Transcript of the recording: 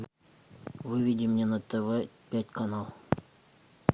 выведи мне на тв пять канал